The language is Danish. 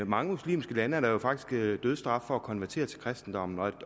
mange muslimske lande er der dødsstraf for at konvertere til kristendommen